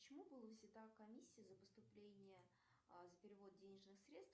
почему была снята комиссия за поступление за перевод денежных средств